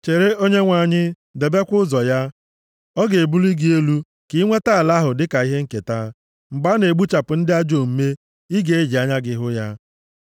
Chere Onyenwe anyị, debekwa ụzọ ya. Ọ ga-ebuli gị elu ka i nweta ala ahụ dịka ihe nketa; mgbe a na-egbuchapụ ndị ajọ omume, ị ga-eji anya gị hụ ya.